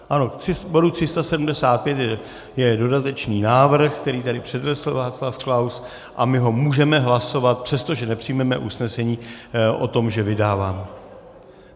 Ano, k bodu 375 je dodatečný návrh, který tady přednesl Václav Klaus, a my ho můžeme hlasovat, přestože nepřijmeme usnesení o tom, že vydáváme.